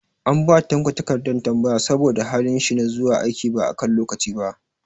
An ba Tanko takardar tambaya saboda halin shi na zuwa aiki ba a kan lokaci ba.